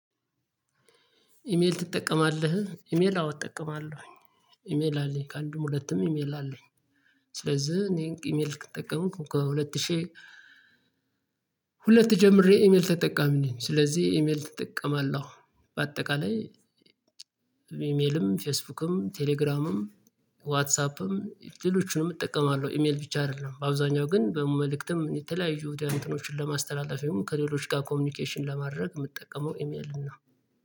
ኢሜል ትጠቀማለህ? ኢሜል እጠቀማለሁኝ ኢሜል አለኝ ከአንዱም ሁለቱም ኢሜል አለኝ ስለዚህ እኔ ኢሜል የተጠቀምኩ ከሁለት ሺህ ሁለት ጀምሬ ኢሜል ተጠቃሚ ነኝ ስለዚህ ኢሜል ትጠቀማለሁ በአጠቃላይ ኢሜልም ፌስቡክም ቴሌግራምም ዋትሳፕም ሌሎችንም እጠቀማለሁ ኢሜል ብቻ አይደለም በአብዛኛው ግን በመልእክትም የተለያዩ የውድያኖችን ለማስተላለፊያውም ከሌሎች ጋር ኮሚኒኬሽን ለማድረግ የምትጠቀመው ኢሜልን ነው።